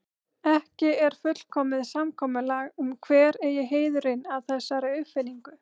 Ekki er fullkomið samkomulag um hver eigi heiðurinn að þessari uppfinningu.